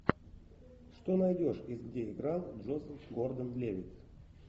что найдешь из где играл джозеф гордон левитт